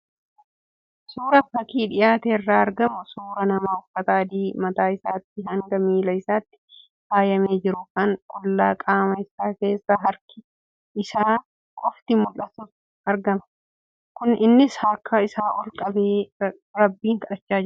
Suuraan fakii dhiyaate irraa argamu suuraa nama uffata adiin mataa isaatii hanga miila isaatti faayamee jiru, kan qullaa qaama isaa keessaa harki isaa qofti mul'atutu argama. Innis harka isaa ol qabee rabbiin kadhachaa jira.